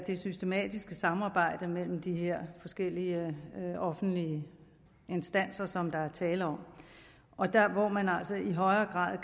det systematiske samarbejde mellem de her forskellige offentlige instanser som der er tale om hvor der altså i højere grad